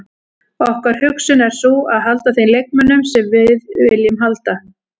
Okkar hugsun er sú að halda þeim leikmönnum sem við viljum halda.